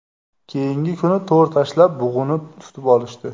Keyingi kuni to‘r tashlab bug‘uni tutib olishdi.